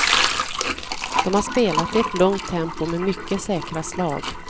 De har spelat i ett lugnt tempo med mycket säkra slag.